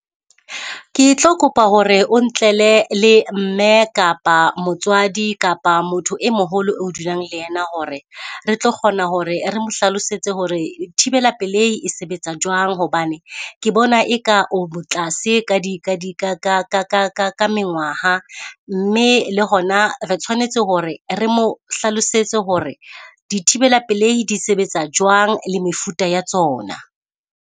Ke tlo kopa hore o ntlele le mme kapa motswadi kapa motho e moholo e o dulang le yena hore re tlo kgona hore re mo hlalosetse hore thibela pelehi e sebetsa jwang. Hobane ke bona eka o mo tlase ka di ka di ka ka ka ka ka ka mengwaha, mme le hona re tshwanetse hore re mo hlalosetse hore di thibela pelehi di sebetsa jwang le mefuta ya tsona.